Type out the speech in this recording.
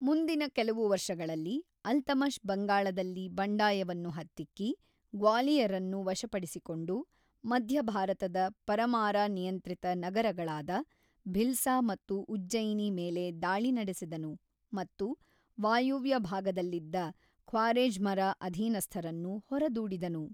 ಮುಂದಿನ ಕೆಲವು ವರ್ಷಗಳಲ್ಲಿ, ಅಲ್ತಮಷ್ ಬಂಗಾಳದಲ್ಲಿ ಬಂಡಾಯವನ್ನು ಹತ್ತಿಕ್ಕಿ, ಗ್ವಾಲಿಯರನ್ನು ವಶಪಡಿಸಿಕೊಂಡು, ಮಧ್ಯ ಭಾರತದ ಪರಮಾರಾ-ನಿಯಂತ್ರಿತ ನಗರಗಳಾದ ಭಿಲ್ಸಾ ಮತ್ತು ಉಜ್ಜಯಿನಿ ಮೇಲೆ ದಾಳಿ ನಡೆಸಿದನು ಮತ್ತು ವಾಯುವ್ಯ ಭಾಗದಲ್ಲಿದ್ದ ಖ್ವಾರೆಝ್ಮರ ಅಧೀನಸ್ಥರನ್ನು ಹೊರದೂಡಿದನು.